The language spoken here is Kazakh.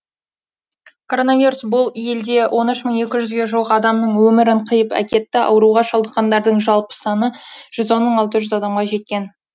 коронавирус бұл елде он үш мың екі жүзге жуық адамның өмірін қиып әкетті ауруға шалдыққандардың жалпы саны жүз он мың алты жүз адамға жеткен